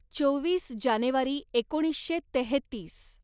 चोवीस जानेवारी एकोणीसशे तेहेतीस